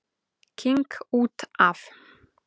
King út af.